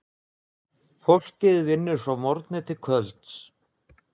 Fólkið vinnur frá morgni til kvölds.